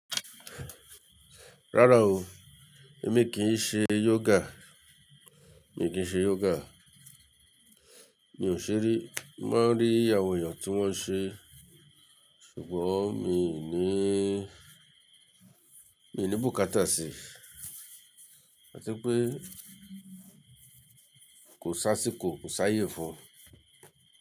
Rárá o, èmi kì ṣe yoga, mi kì ṣe yoga. Mi ò ṣe rí, mo maa ń rí àwọn èèyàn tí wọ́n ń ṣe, ṣùgbọ́n mi ò níí, mi ní bùkátà sí i. A ti pé kò si ásíkò, kò sá yé fun.